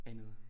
Andet